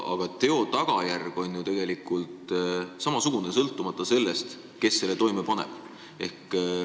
Aga teo tagajärg on ju tegelikult samasugune, sõltumata sellest, kes selle toime paneb.